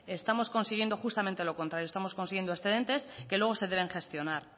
estamos consiguiendo justamente lo contrario estamos consiguiendo excedentes que luego se deben gestionar